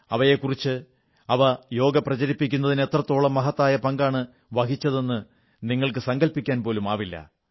അവയെക്കുറിച്ച് അവ യോഗ പ്രചരിപ്പിക്കുന്നതിന് എത്രത്തോളം മഹത്തായ പങ്കാണ് വഹിച്ചതെന്ന് നിങ്ങൾക്ക് സങ്കല്പിക്കാൻ പോലുമാവില്ല